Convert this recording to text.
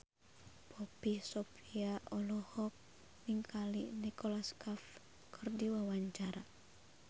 Poppy Sovia olohok ningali Nicholas Cafe keur diwawancara